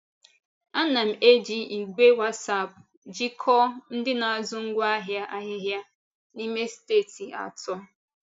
Ana m eji ìgwè WhatsApp jikọọ ndị na-azụ ngwaahịa ahịhịa n’ime steeti atọ.